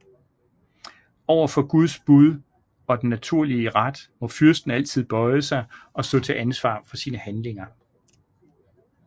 Over for Guds bud og den naturlige ret må fyrsten altid bøje sig og stå til ansvar for sine handlinger